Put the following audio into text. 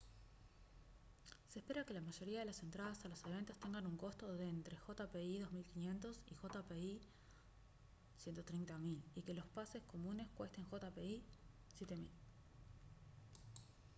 se espera que la mayoría de las entradas a los eventos tengan un costo de entre jpy 2500 y jpy 130 000 y que los pases comunes cuesten jpy 7000